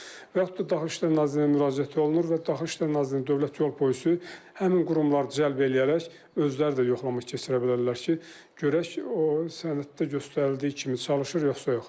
Və yaxud da Daxili İşlər Nazirliyinə müraciət olunur və Daxili İşlər Nazirliyinin Dövlət Yol Polisi, həmin qurumlar cəlb eləyərək özləri də yoxlama keçirə bilərlər ki, görək o sənəddə göstərildiyi kimi çalışır, yoxsa yox.